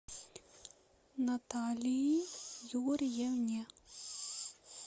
наталии юрьевне